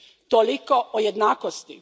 Toliko o jednakosti.